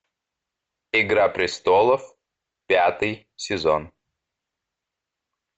игра престолов пятый сезон